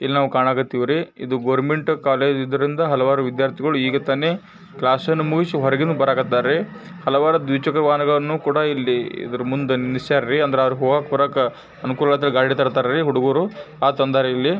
ಇಲ್ಲಿನಾವ ಕಾಣಾಕ್ ಹತ್ತಾವ್ರಿ government college ಇದರಿಂದ ಹಲವಾರು ವಿದ್ಯಾರ್ಥಿಗಳು ಈಗ ತಾನೆ ಕ್ಲಾಸ್ ಮುಗಿಸಿ ಹೊರಗಡೆ ಬರಕತ್ತಾವ್ರಿ. ಹಲವಾರು ದ್ವಿ-ಚಕ್ರವಾಹನಗಳನ್ನೂ ಕೂಡ ಇಲ್ಲಿ ಇದರ ಮುಂದೆ ನಿಲ್ಸವ್ರ್ ರೀ. ಹೋಗೋಕೆ ಬರಕ್ಕೆ ಹುಡುಗ್ರು ಗಾಡಿ ತಂದಾರ್ ಇಲ್ಲಿ.